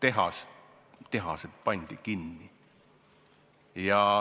Aga tehased pandi kinni.